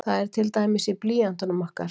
Það er til dæmis í blýöntunum okkar.